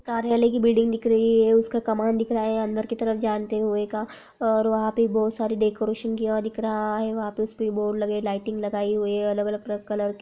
Building दिख रही है| उसका कमान दिख रहा है| अंदर की तरफ जानते हुए का और वहा पे (पर) बहुत सारी डेकोरैशन किया हुआ दिख रहा है| वहा पर उस पे (पर) बोर्ड लगे लाइटिंग लगाई हुई है अलग-अलग प्र कलर की।